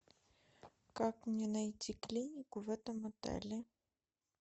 как мне найти клинику в этом отеле